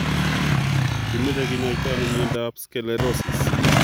Kimeche kinyaita ano miondap sclerosis?